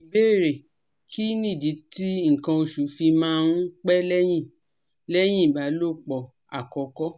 Ìbéèrè: Kí nìdí tí nkan oṣù fi máa ń pẹ́ lẹ́yìn lẹ́yìn ìbálòpọ̀ àkọ́kọ́?